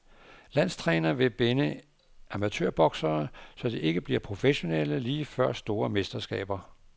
Landstræner vil binde amatørboksere, så de ikke bliver professionelle lige før store mesterskaber.